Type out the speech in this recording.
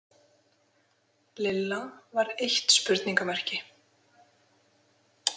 Lilla var eitt spurningarmerki.